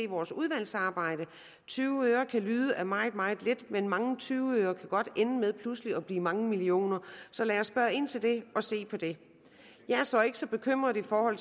vores udvalgsarbejde tyve øre kan lyde af meget meget lidt men mange gange tyve øre kan godt ende med pludselig at blive til mange millioner så lad os spørge ind til det og se på det jeg er så ikke så bekymret for